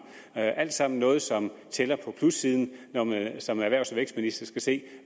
det er alt sammen noget som tæller på plussiden når man som erhvervs og vækstminister skal se